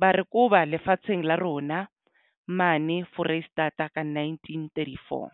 ba re koba lefatsheng la rona mane Foreisetata ka nineteen thirty four.